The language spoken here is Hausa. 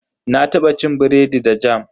Na taba cin biredi da jam.